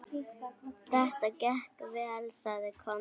Þetta gekk vel, sagði Konráð.